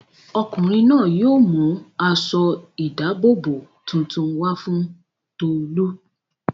Ọkùnrin náà yóò mú aṣọ-ìdáàbòbò tuntun wá fún Tolú.